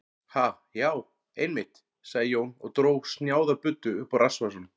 Ha, já, einmitt, sagði Jón og dró snjáða buddu upp úr rassvasanum.